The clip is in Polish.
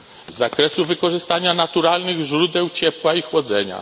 z zakresu wykorzystania naturalnych źródeł ciepła i chłodzenia.